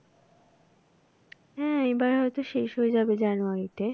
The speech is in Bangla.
হ্যাঁ এবার হয় তো শেষ হয়ে যাবে জানুয়ারিতে।